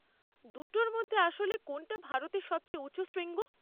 দুটোর মধ্যে আসলে কোনটা ভারতে সবচেয়ে উঁচু শৃঙ্গ?